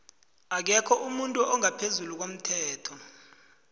akekho umuntu ongaphezulu komthetho